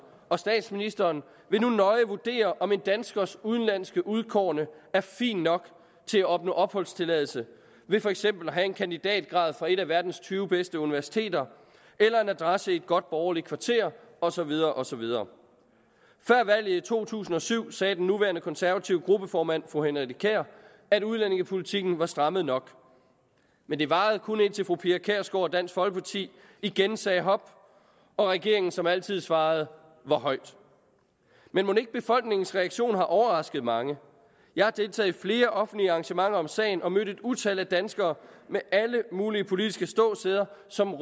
og statsministeren vil nu nøje vurdere om en danskers udenlandske udkårne er fin nok til at opnå opholdstilladelse ved for eksempel at have en kandidatgrad fra et af verdens tyve bedste universiteter eller en adresse i et godt borgerligt kvarter og så videre og så videre før valget i to tusind og syv sagde den nuværende konservative gruppeformand fru henriette kjær at udlændingepolitikken var strammet nok men det varede kun indtil fru pia kjærsgaard og dansk folkeparti igen sagde hop og regeringen som altid svarede hvor højt men mon ikke befolkningens reaktion har overrasket mange jeg har deltaget i flere offentlige arrangementer om sagen og mødt et utal af danskere med alle mulige politiske ståsteder som